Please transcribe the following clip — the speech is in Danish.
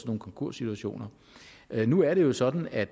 nogle konkurssituationer nu er det jo sådan at